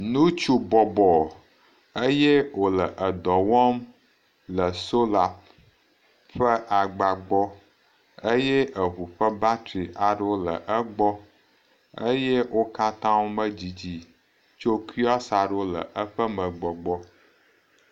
Nutsu bɔbɔ eye wòle edɔ wɔm le sola ƒe agba gbɔ eye eŋu ƒe batri aɖewo le egbɔ eye okatã medidi tso kiɔsi aɖewo le eƒe me gbɔ gbɔ.